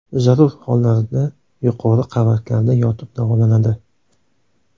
Zarur hollarda yuqori qavatlarda yotib davolanadi.